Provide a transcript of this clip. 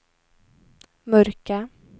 mörka